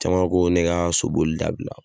Caman ko ne ka soboli dabila